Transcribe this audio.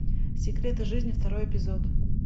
секреты жизни второй эпизод